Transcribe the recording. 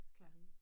Klap i